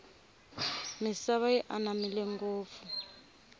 misava yi anamile ngofu